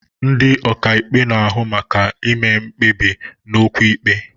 Ndị ọkàikpe na-ahụ maka ime mkpebi n'okwu ikpe.